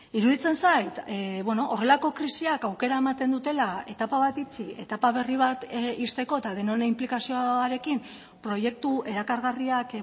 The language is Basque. iruditzen zait horrelako krisiak aukera ematen dutela etapa bat itxi etapa berri bat ixteko eta denon inplikazioarekin proiektu erakargarriak